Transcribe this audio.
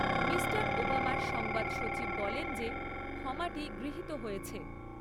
Mister ওবামার সংবাদ সচিব বলেন যে ক্ষমাটি গৃহিত হয়েছে।